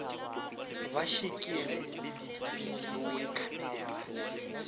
ba šikere le dibidio khamera